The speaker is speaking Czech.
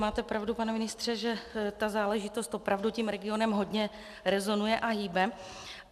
Máte pravdu, pane ministře, že ta záležitost opravdu tím regionem hodně rezonuje a hýbe.